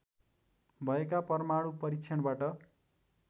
भएका परमाणु परीक्षणबाट